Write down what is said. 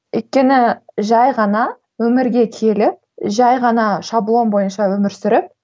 өйткені жай ғана өмірге келіп жай ғана шаблон бойынша өмір сүріп